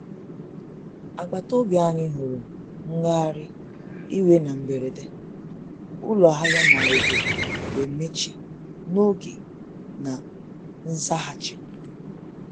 Agbataobi anyị huru ngagharị iwe na mberede, ụlọ ahịa na obodo wee mechie n'oge na nzaghachi.